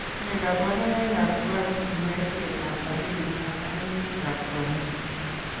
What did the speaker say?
Nee kabarunoikab Dwarfism, yaitietab akilit ak kaimutikab konyek?